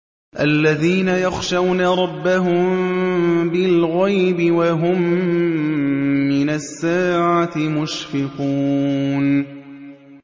الَّذِينَ يَخْشَوْنَ رَبَّهُم بِالْغَيْبِ وَهُم مِّنَ السَّاعَةِ مُشْفِقُونَ